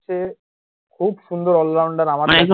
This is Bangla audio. খুব সুন্দর allrounder